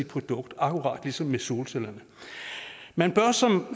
produkt akkurat ligesom med solcellerne man bør som